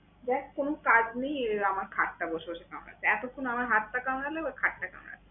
দেখ কোন কাজ নেই, এবার আমার খাটটা বসে বসে কামড়াচ্ছে। এতক্ষণ আমার হাতটা কামড়াল, এবার খাটটা কামড়াচ্ছে।